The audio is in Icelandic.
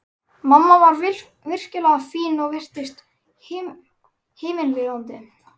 Mamma var virkilega fín og virtist himinlifandi.